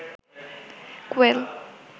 কোয়েল